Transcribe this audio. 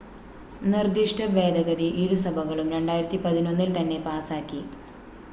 നിർദ്ദിഷ്ട ഭേദഗതി ഇരുസഭകളും 2011-ൽ തന്നെ പാസാക്കി